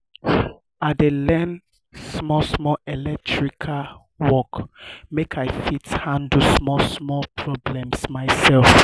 i dey learn small small electrical work make i fit handle small small problems myself.